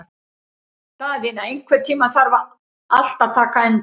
Daðína, einhvern tímann þarf allt að taka enda.